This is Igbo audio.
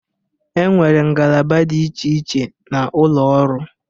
Enwere ngalaba dị iche iche na ụlọ ọrụ.